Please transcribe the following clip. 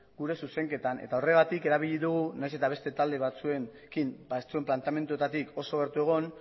gure zuzenketan eta horregatik erabili dugu nahiz eta beste talde batzuen planteamenduetatik oso gertu egon